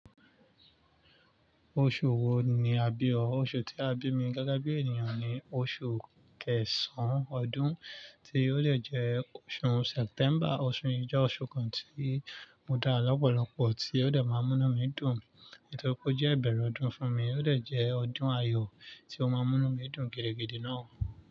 Oṣù wo ni a bí ọ? Oṣù tí a bí mi gẹ́gẹ́ bí ènìyàn ni oṣù kẹsàn-án ọdún, tí ó dè jẹ́ oṣù September. Oṣù yìí jẹ́ oṣù kan tí o dara lọ́pọ̀lọpọ̀ tí ó dà máa mú inu mi dùn, nítorí pé ó jẹ́ ìbẹ̀rẹ̀ ọdún fún mi, ó dè jẹ́ ọdún ayọ̀ tí ó máa mú inu mi dùn gidigidi náà.